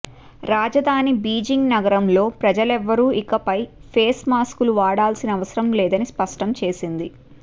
రాజధాని బీజింగ్ నగరంలో ప్రజలెవరూ ఇకపై ఫేస్ మాస్కులు వాడాల్సిన అవసరం లేదని స్పష్టం చేసింది